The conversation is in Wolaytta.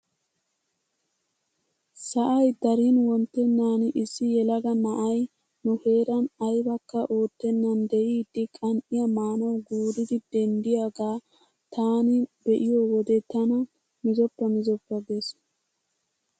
Sa'ay darin wonttenan issi yelaga na'ay nu heeran aybakka oottenan de'iidi qan"iyaa maanawu guuridi denddiyaagaa taani be'iyoo wode tana mizoppa mizoppa ges!